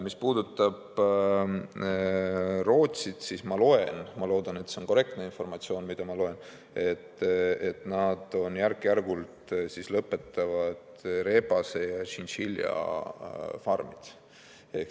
Mis puudutab Rootsit, siis ma loen siit – ma loodan, et see on korrektne informatsioon, mida ma loen –, et nad järk-järgult lõpetavad rebase- ja tšintšiljafarmide tegevuse.